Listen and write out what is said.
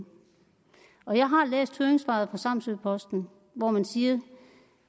og jeg har læst høringssvaret fra samsø posten hvor man siger